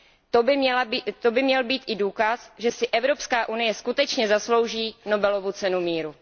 To by měl být i důkaz, že si Evropská unie skutečně zaslouží Nobelovu cenu míru.